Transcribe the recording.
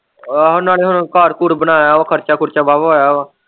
ਆਹੋ ਨਾਲ਼ੇ ਹੁਣ ਘਰ-ਘੂਰ ਬਣਾਇਆ ਵਾ ਖਰਚਾ-ਖੂਰਚਾ ਵਾਹ-ਵਾਹ ਆਇਆ ਵਾ।